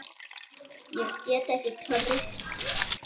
Ég get ekki treyst þér.